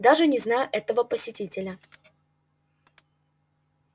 даже не знаю этого посетителя